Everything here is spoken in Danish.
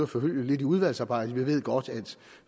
forfølge lidt i udvalgsarbejdet vi ved godt